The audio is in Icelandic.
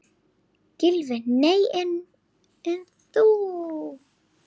Gylfi: Nei en þú?